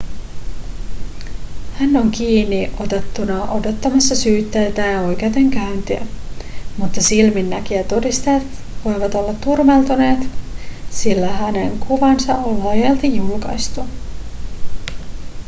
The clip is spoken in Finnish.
hän on kiinniotettuna odottamassa syytettä ja oikeudenkäyntiä mutta silminnäkijätodisteet voivat olla turmeltuneet sillä hänen kuvansa on laajalti julkaistu